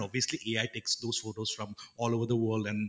obviously AI takes those photos from all over the world and